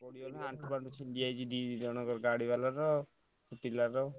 ଆଣ୍ଠୁ ଫାଣ୍ଠୁ ଛିଣ୍ଡି ଯାଇଛି ଟିକେ ଜଣକ ଗାଡି ବାଲାର ପିଲାର।